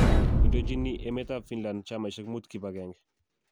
Indoojini emet ap finland chamaisiek muut kibaagenge